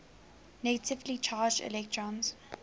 negatively charged electrons